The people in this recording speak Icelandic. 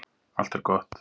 Allt er gott.